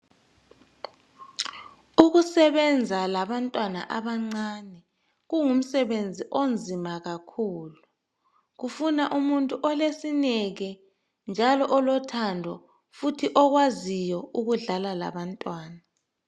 Ukusebenza labantwana abancane kungumsebenzi onzima kakhulu, kufuna umuntu olesineke njalo olothando futhi okwaziyo ukudlala labantwana.